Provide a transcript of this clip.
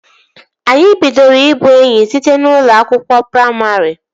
Anyị bidoro ị bụ enyi site n'ụlọ akwụkwọ praimarị